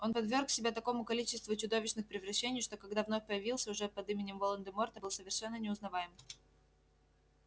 он подверг себя такому количеству чудовищных превращений что когда вновь появился уже под именем волан-де-морта был совершенно неузнаваем